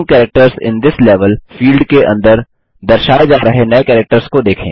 new characters in this level field के अंदर दर्शाए जा रहे नये कैरेक्टर्स को देखें